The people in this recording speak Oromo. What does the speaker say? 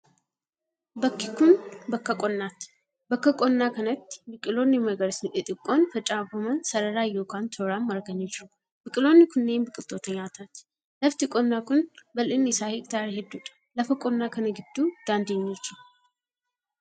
Bakki kun, bakka qonnaati. Bakka qonnaa kanatti, biqiloonni magariisni xixiqqoon facaafaman sararaan yokin tooraan marganii jiru. Biqiloonni kunneen, biqiloota nyaataati. Lafti qonnaa kun, bal'inni isaa hektaara hedduu dha. Lafa qonnaa kana gidduu daandiin ni jra.